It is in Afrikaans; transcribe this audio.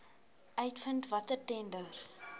uitvind watter tenders